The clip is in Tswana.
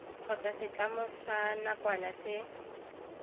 kgotsa setlamo sa nakwana se